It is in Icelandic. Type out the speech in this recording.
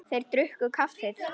Þeir drukku kaffið.